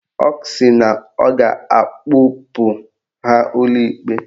Ọ sị na ọ ga-akpụpụ ha ụlọ ikpe